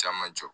Caman jɔ